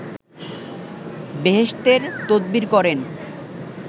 বেহেসতের তদবির করেন